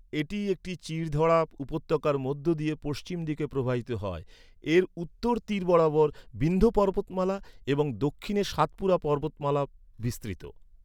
এটি একটি চিড় ধরা উপত্যকার মধ্য দিয়ে পশ্চিমদিকে প্রবাহিত হয়, এর উত্তর তীর বরাবর বিন্ধ্য পর্বতমালা এবং দক্ষিণে সাতপুরা পর্বতমালা বিস্তৃত।